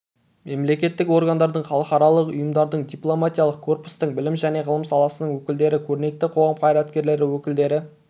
мемлекеттік органдардың халықаралық ұйымдардың дипломатиялық корпустың білім және ғылым саласының өкілдері көрнекті қоғам қайраткерлері өкілдері